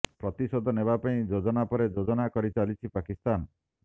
ପ୍ରତିଶୋଧ ନେବା ପାଇଁ ଯୋଜନା ପରେ ଯୋଜନା କରି ଚାଲିଛି ପାକିସ୍ତାନ